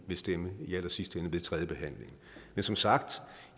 vil stemme ved tredje behandling men som sagt